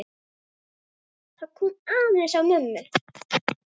Það kom aðeins á mömmu.